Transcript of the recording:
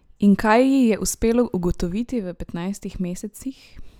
In kaj ji je uspelo ugotoviti v petnajstih mesecih?